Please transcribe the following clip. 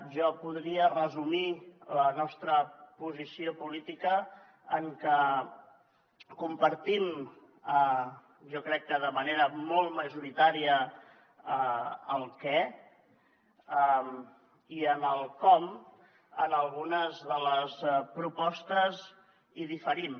jo podria resumir la nostra posició política en que compartim jo crec que de manera molt majoritària el què i en el com en algunes de les propostes en diferim